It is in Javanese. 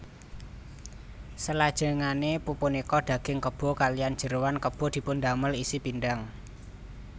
Selajengane pupunika daging kebo kaliyan jeroan kebo dipundamel isi pindhang